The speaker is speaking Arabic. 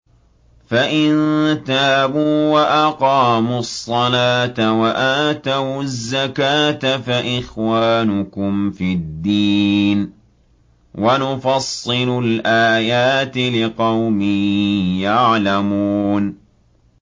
فَإِن تَابُوا وَأَقَامُوا الصَّلَاةَ وَآتَوُا الزَّكَاةَ فَإِخْوَانُكُمْ فِي الدِّينِ ۗ وَنُفَصِّلُ الْآيَاتِ لِقَوْمٍ يَعْلَمُونَ